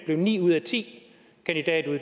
blev ni ud af ti